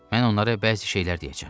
Mən onlara bəzi şeylər deyəcəm.